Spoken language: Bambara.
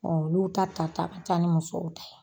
Ɔn u y'a ta, ta ta ka taa ni musow ta ye.